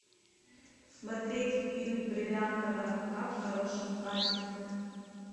смотреть фильм бриллиантовая рука в хорошем качестве